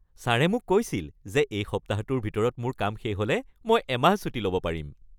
ছাৰে মোক কৈছিল যে এই সপ্তাহটোৰ ভিতৰত মোৰ কাম শেষ হ'লে মই এমাহ ছুটী ল’ব পাৰিম!